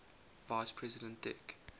vice president dick